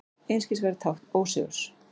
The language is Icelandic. Einskisverð tákn ósigurs.